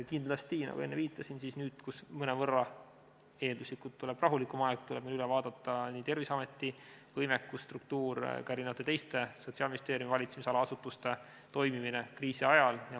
Kindlasti, nagu enne viitasin, nüüd, kui mõnevõrra eelduslikult tuleb rahulikum aeg, tuleb meil üle vaadata nii Terviseameti võimekus ja struktuur kui ka teiste Sotsiaalministeeriumi valitsemisala asutuste toimimine kriisi ajal.